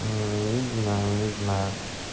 незнаю незнаю